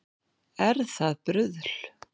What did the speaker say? Er það bruðl